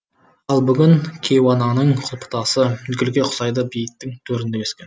ал бүгін кейуананың құлпытасы гүлге ұқсайды бейіттің төрінде өскен